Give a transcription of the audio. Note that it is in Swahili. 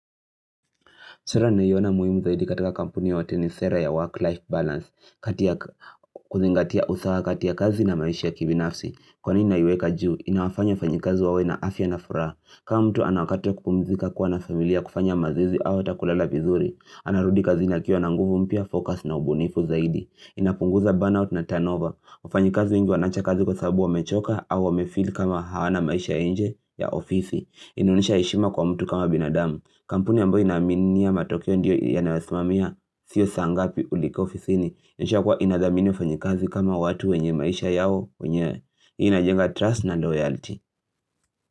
Sera ninayoiyona muhimu zaidi katika kampuni yoyote nisera ya work-life balance kuzingatia usawa kati ya kazi na maisha ya kibinafsi. Kwa nini na iweka juu, inawafanya wafanyikazi wawe na afya na furaha. Kama mtu anawakati wa kupumzika kuwa na familia kufanya mazoezi au hatakulala vizuri. Anarudi kazi anakiwa na nguvu mpya, focus na ubunifu zaidi. Inapunguza burnout na turnover. Wafanyikazi wengi wanaacha kazi kwa sababu wamechoka au wamefeel kama hawana maisha ya nje ya ofisi. Inaonyesha heshima kwa mtu kama binadamu. Kampuni ambayo inaaminia matokeo ndiyo yanawasimamia Sio saangapi ulifika ofisini inaonyesha kuwa inadhamini wafanyikazi kama watu wenye maisha yao wenyewe hii inajenga trust na loyalty.